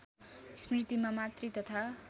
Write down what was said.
स्मृतिमा मातृ तथा